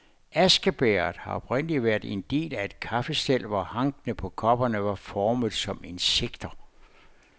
Askebægeret har oprindeligt været en del af et kaffestel, hvor hankene på kopperne var formet som insekter.